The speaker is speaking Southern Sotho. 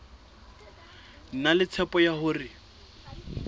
na le tshepo ya hore